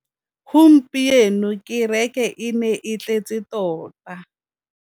Gompieno kêrêkê e ne e tletse tota.